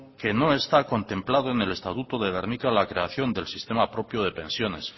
que no está contemplado en el estatuto de gernika la creación del sistema propio de pensiones